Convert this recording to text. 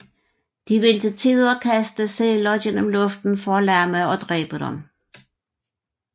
De vil til tider kaste sæler gennem luften for at lamme og dræbe dem